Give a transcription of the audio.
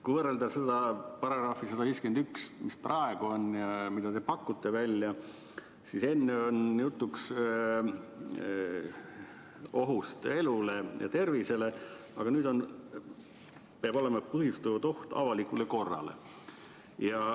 Kui võrrelda § 151, mis praegu kehtib, ja seda, mida teie välja pakute, siis on juttu ohust elule ja tervisele, aga peab olema põhjustatud oht avalikule korrale.